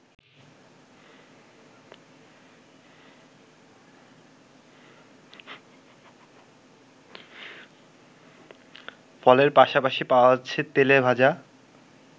ফলের পাশাপাশি পাওয়া যাচ্ছে তেলে ভাজা